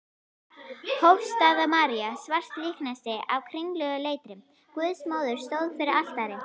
Hofsstaða-María, svart líkneski af kringluleitri Guðsmóður, stóð fyrir altari.